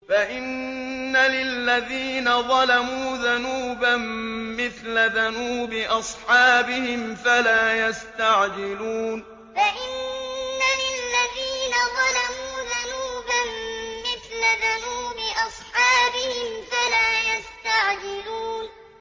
فَإِنَّ لِلَّذِينَ ظَلَمُوا ذَنُوبًا مِّثْلَ ذَنُوبِ أَصْحَابِهِمْ فَلَا يَسْتَعْجِلُونِ فَإِنَّ لِلَّذِينَ ظَلَمُوا ذَنُوبًا مِّثْلَ ذَنُوبِ أَصْحَابِهِمْ فَلَا يَسْتَعْجِلُونِ